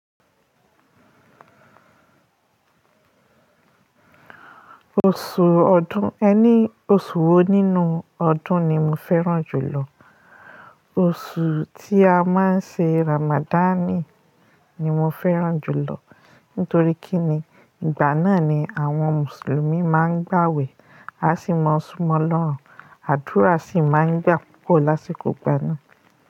Oṣù ọdún, ẹ ní oṣù wo nínú ọdún ni mo fẹ́ràn jùlọ? Oṣù tí a má ń ṣe Ramadan ni mo fẹ́ràn jùlọ. Nítorí kí ni ìgbà náà ni àwọn mùsùlùmí má ń gbàwẹ̀, a sì mọ súnmọ Ọlọ́run, àdúrà sì má ń gbà púpọ̀ lásìkò ìgbà náà.